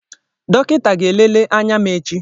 Dọkịta ga-elele anya m echi.